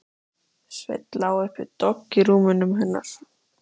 Sveinn lá upp við dogg í rúminu hennar.